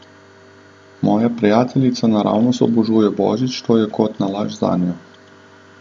Moja prijateljica naravnost obožuje božič, to je kot nalašč zanjo.